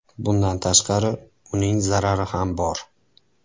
Bundan tashqari, uning zarari ham bor.